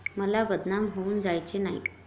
मला बदनाम होऊन जायचे नाही.